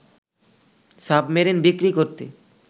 submarine বিক্রি করতে